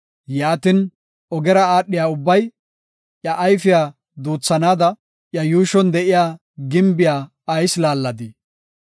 Yaatin, ogera aadhiya ubbay iya ayfiya duuthanaada, iya yuushon de7iya gimbiya ayis laalladii?